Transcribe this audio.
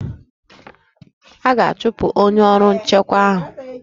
A ga-achụpụ onye ọrụ nchekwa ahụ?